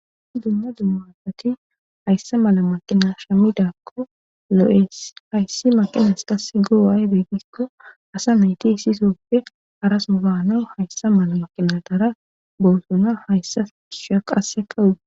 Duma a dumma asati hayssa mala maqina shamidakko lo7es hayssi maqinas kas goo7aye beeggikko asa meyti isisoppe arasuubaano hayssa mala maqina dara boosona hayssa sha qasse kawuda